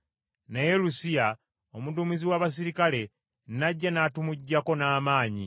naye Lusiya, omuduumizi w’abaserikale n’ajja n’atumuggyako n’amaanyi,